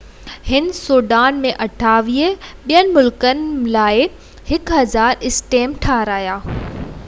هن سويڊن ۽ 28 ٻين ملڪن لاءِ 1،000 اسٽيمپ ٺاهرايا